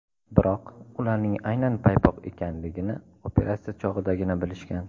Biroq ularning aynan paypoq ekanligini operatsiya chog‘idagina bilishgan.